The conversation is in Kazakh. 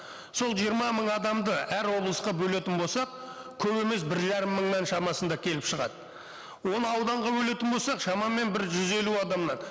сол жиырма мың адамды әр облысқа бөлетін болсақ көп емес бір жарым мыңның шамасында келіп шығады оны ауданға бөлетін болақ шамамен бір жүз елу адамнан